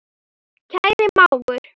Kæri mágur.